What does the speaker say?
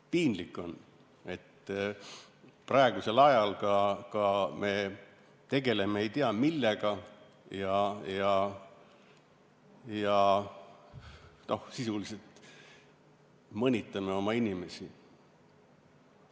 Piinlik on, et praegusel ajal me tegeleme ei tea millega ja sisuliselt mõnitame oma inimesi.